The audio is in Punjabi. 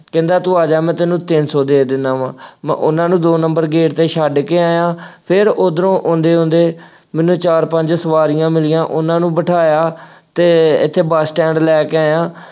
ਕਹਿੰਦਾ ਤੂੰ ਆ ਜਾ ਮੈਂ ਤੈਨੂੰ ਤਿੰਨ ਸੌ ਦੇ ਦਿੰਦਾ ਵਾ, ਮੈਂ ਉਹਨਾ ਨੂੰ ਦੋ number gate ਤੇ ਛੱਡ ਕੇ ਆਇਆਂ, ਫੇਰ ਉੱਧਰੋਂ ਆਉਂਦੇ ਆਉਂਦੇ, ਮੈਨੂੰ ਚਾਰ ਪੰਜ ਸਵਾਰੀਆਂ ਮਿਲੀਆਂ, ਉਹਨਾ ਨੂੰ ਬਿਠਾਇਆ ਅਤੇ ਇੱਥੇ ਬੱਸ ਸਟੈਂਡ ਲੈ ਕੇ ਆਇਆ।